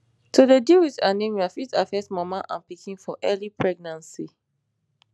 to dey deal wit anemia fit affect mama and pikin for early pregnancy